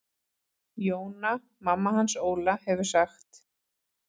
Jóna mamma hans Óla hefur sagt.